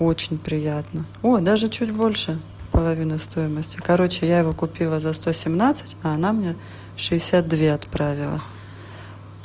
очень приятно о даже чуть больше половины стоимости короче я его купила за сто семнадцать а она мне шестьдесят две отправила